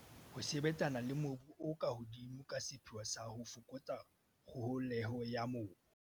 Ho sebetsana le mobu o ka hodimo ka sepheo sa ho fokotsa kgoholeho ya mobu.